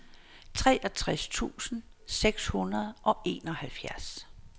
treogtres tusind seks hundrede og enoghalvfjerds